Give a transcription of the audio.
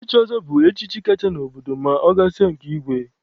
Ichi ọzọ bụ echichi kacha n'obodo ma ọ gasịa nke igwe.